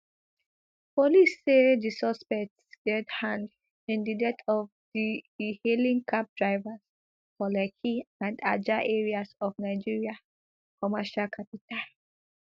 police say di suspects get hand in di death of di ehailing cab drivers for lekki and ajah areas of nigeria commercial capital